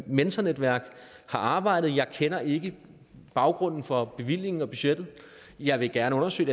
mentornetværk har arbejdet og jeg kender ikke baggrunden for bevillingen og budgettet jeg vil gerne undersøge